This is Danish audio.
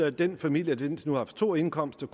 at den familie der indtil nu har haft to indkomster